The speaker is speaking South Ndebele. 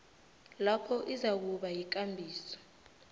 lapho izakuba yikambiso